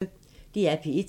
DR P1